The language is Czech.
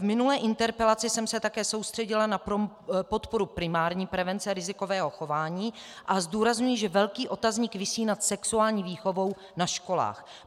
V minulé interpelaci jsem se také soustředila na podporu primární prevence rizikového chování a zdůrazňuji, že velký otazník visí nad sexuální výchovou na školách.